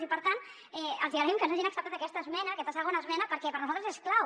i per tant els hi agraïm que ens hagin acceptat aquesta esmena aquesta segona esmena perquè per a nosaltres és clau